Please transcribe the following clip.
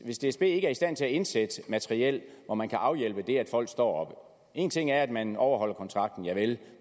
hvis dsb ikke er i stand til at indsætte materiel hvor man kan afhjælpe det at folk står én ting er at man overholder kontrakten javel